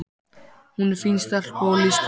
SÉRA SIGURÐUR: Heiftin mun koma yður sjálfum í koll?